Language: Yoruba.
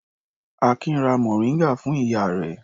Akin ra mòríngà fún ìyá rẹ̀.